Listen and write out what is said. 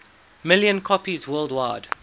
million copies worldwide